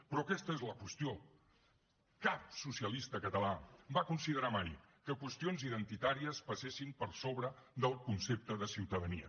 però aquesta és la qüestió cap socialista català va considerar mai que qüestions identitàries passessin per sobre del concepte de ciutadania